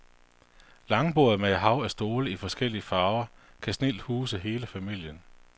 Langbordet med et hav af stole i forskellige farver kan snildt huse hele familien.